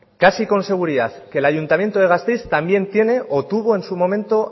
casi con seguridad que el ayuntamiento de gasteiz también tiene o tuvo en su momento